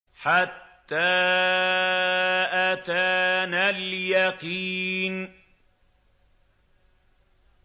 حَتَّىٰ أَتَانَا الْيَقِينُ